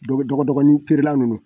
Dɔgɔdɔgɔnin feerela ninnu